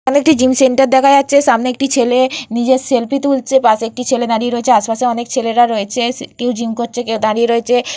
এখানে একটি gym centre দেখা যাচ্ছে সামনে একটি ছেলে নিজের সেলফি তুলছে পাশে একটি ছেলে দাঁড়িয়ে রয়েছে আশে পাশে অনেক ছেলেরা রয়েছে কেউ জিম করছে কেউ দাঁড়িয়ে রয়েছে।